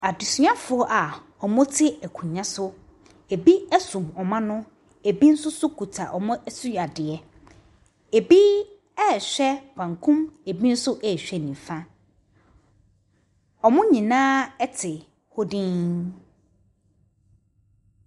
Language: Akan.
Adesuafoɔ a ɔmɔ te ankonnwa so ebi ɛsum wɔn ano ebi nso kuta ɔmɔ suadeɛ ebi hwɛ benkum ebi hwɛ nifa ɔmɔ nyinaa te hɔ din.